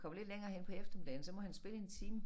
Kommer lidt længere hen på eftermiddagen så må han spille en time